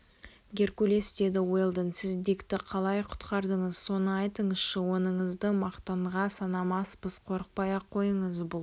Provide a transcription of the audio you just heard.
геркулес деді уэлдон сіз дикті қалай құтқардыңыз соны айтыңызшы оныңызды мақтанға санамаспыз қорықпай-ақ қойыңыз бұл